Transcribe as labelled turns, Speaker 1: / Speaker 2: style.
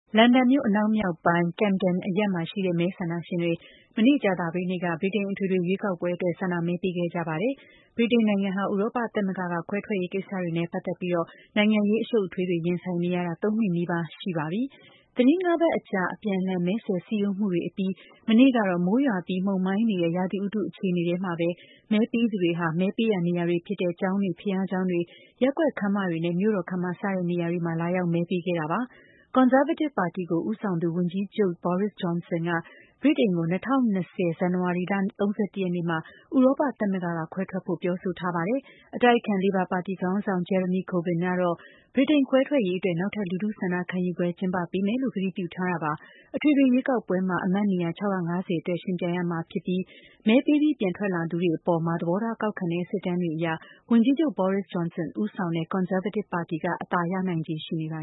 Speaker 1: လန်ဒန်မြို့ အနောက်မြောက်ပိုင်း ဒေသ Camden မှာရှိတဲ့ မဲဆန္ဒရှင်တွေ မနေ့ ကြာသပတေးနေ့က ဗြိတိန် အထွေထွေရွေးကောက်ပွဲအတွက် ဆန္ဒမဲပေးခဲ့ကြပါတယ်။ ဗြိတိန်နိုင်ငံဟာ ဥရောပ သမဂ္ဂက ခွဲထွက်ရေး ကိစ္စတွေနဲ့ ပတ်သက်ပြီး နိုင်ငံရေး အရှုပ်အထွေးတွေ ရင်ဆိုင်နေရတာ ၃ နှစ်နီးပါးရှိနေပါပြီ။ သီတင်း ၅ ပတ်ကြာ အပြန်အလှန်မဲဆွယ်စည်းရုံးမှုတွေအပြီး မနေ့ကတော့ မိုးရွာပြီး မှုန်မှိုင်းနေတဲ့ ရာသီဥတုအခြေအနေထဲမှာပဲ မဲပေးသူတွေဟာ မဲပေးရာနေရာတွေဖြစ်တဲ့ ကျောင်းတွေ၊ ဘုရားကျောင်းတွေ၊ ရပ်ကွက် ခန်းမတွေနဲ့ မြို့တော်ခန်းမ စတဲ့ နေရာတွေမှာ လာရောက်မဲပေးခဲ့ကြတာပါ။ ကွန်ဆာဗေးတစ်ပါတီ ကို ဦးဆောင်သူ ဝန်ကြီးချုပ် Boris Johnsonက ဗြိတိန်ကို ၂၀၂၀ ဇန်နဝါရီလ ၃၁ ရက်နေ့မှာ ဥရောပသမဂ္ဂက ခွဲထွက်ဖို့ ပြောဆိုထားပါတယ်။ အတိုက်အခံ လေဘာပါတီ ခေါင်းဆောင် Jeremy Corbyn ကတော့ ဗြိတိန်ခွဲထွက်ရေး အတွက် နောက်ထပ် လူထုဆန္ဒခံယူပွဲ ကျင်းပပေးမယ်လို့ ကတိပြုထားတာပါ။ အထွေထွေ ရွေးကောက်ပွဲမှာ အမတ်နေရာ ၆၅၀ အတွက် ယှဉ်ပြိုင်ရမှာဖြစ်ပြီး မဲပေးပြီးပြန်ထွက်လာသူတွေအပေါ် သဘောထားကောက်ခံတဲ့ စစ်တမ်းတွေအရ ဝန်ကြီးချုပ် Boris Johnsonဦးဆောင်တဲ့ ကွန်ဆာဗေးတစ်ပါတီ က အသာရနိုင်ချေရှိနေပါ